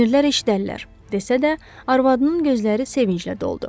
Kinirlər eşidərlər, desə də, arvadının gözləri sevinclə doldu.